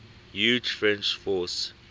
huge french force